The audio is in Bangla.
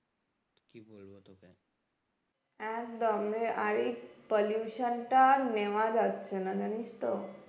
একদম রে আর এই pollution টা আর নেওয়া যাচ্ছে না জানিস তো